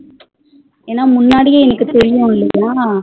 ஏனா எனக்கு முன்னாடியே தெரியும் இல்லையா